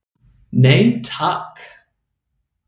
Nei takk.